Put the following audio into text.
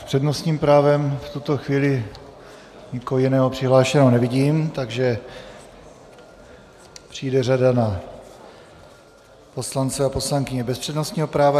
S přednostním právem v tuto chvíli nikoho jiného přihlášeného nevidím, takže přijde řada na poslance a poslankyně bez přednostního práva.